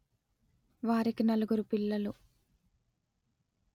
వారికి నలుగురు పిల్లలు